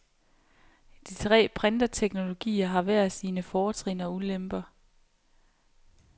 De tre printerteknologier har hver sine fortrin og ulemper.